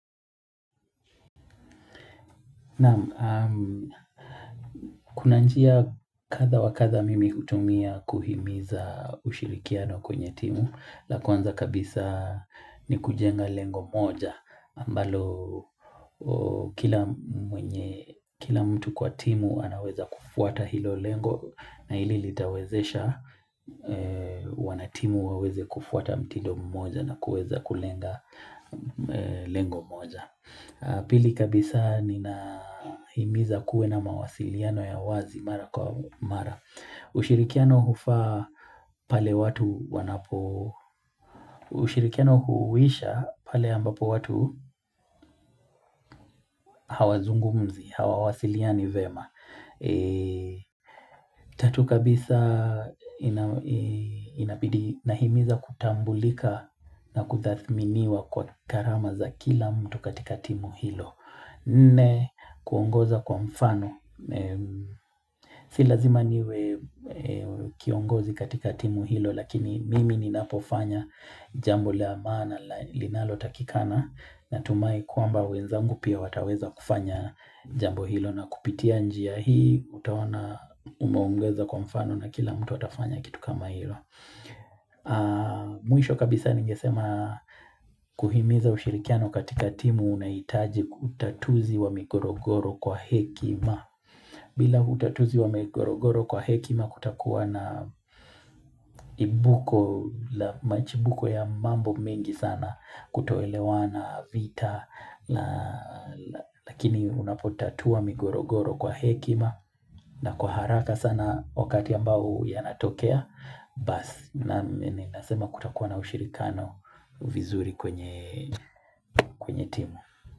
Naam, kuna njia kadhaa wa kadhaa mimi hutumia kuhimiza ushirikiano kwenye timu. La kwanza kabisa ni kujenga lengo moja ambalo kila mtu kwa timu anaweza kufuata hilo lengo na hili litawezesha wanatimu waweze kufuata mtido mmoja na kuweza kulenga lengo moja Pili kabisa ninahimiza kuwe na mawasiliano ya wazi mara kwa mara. Ushirikiano hufaa pale watu wanapo. Ushirikiano huisha pale ambapo watu hawazungumzi, hawawasiliani vyema. Tatu kabisa inabidi nahimiza kutambulika na kuthathminiwa kwa gharama za kila mtu katika timu hilo. Nne kuongoza kwa mfano Si lazima niwe kiongozi katika timu hilo Lakini mimi ninapofanya jambo la maana linalotakikana Natumai kwamba wenzangu pia wataweza kufanya jambo hilo na kupitia njia hii utaona umeongoza kwa mfano na kila mtu atafanya kitu kama hilo Mwisho kabisa ningesema kuhimiza ushirikiano katika timu Unaitaji utatuzi wa migorogoro kwa hekima bila utatuzi wa migorogoro kwa hekima kutakuwa na imbuko la Machibuko ya mambo mengi sana kutoelewana vita Lakini unapotatua migorogoro kwa hekima na kwa haraka sana wakati ambao yanatokea Basi nami ninasema kutakuwa na ushirikiano vizuri kwenye timu.